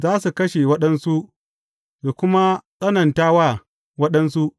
Za su kashe waɗansu, su kuma tsananta wa waɗansu.’